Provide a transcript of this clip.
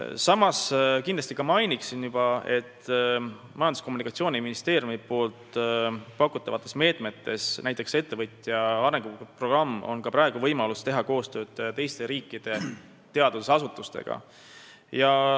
Samas ma märgin, et Majandus- ja Kommunikatsiooniministeeriumi pakutavad meetmed – näiteks võib tuua ettevõtte arenguprogrammi – annavad ka praegu võimaluse teha koostööd teiste riikide teadusasutustega.